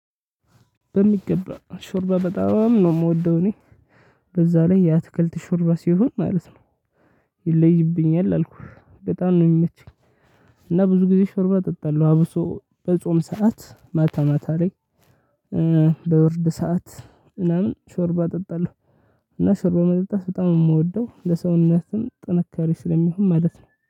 በሚገባ ሾርባ በጣም ነው የምወደው እኔ በዛ ላይ የአትክልት ሾርባ ሲሆን ማለት ነው። ይለይብኛል አልኩህ በጣም ነው የሚመቸኝ። እና ብዙ ጊዜ ሾርባ እጠጣለሁ አብሶ በጾም ሰዓት ማታ ማታ ላይ። በብርድ ሰዓት ምናምን ሾርባ እጠጣለሁ። እና ሾርባ በመጠጣት በጣም ነው የምወደው ለሰውነትም ጥንካሬ ስለሚሆን ማለት ነው